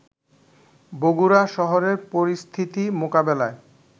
বগুড়া শহরে পরিস্থিতি মোকাবেলায়